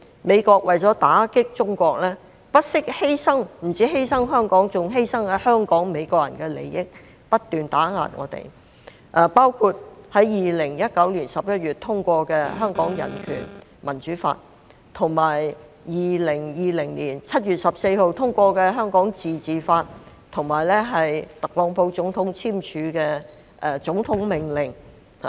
美國為了打擊中國，不單犧牲香港，還犧牲在香港的美國人的利益，不斷打壓我們，包括在2019年11月通過的《香港人權與民主法》、2020年7月14日通過的《香港自治法》，以及特朗普總統簽署的總統命令。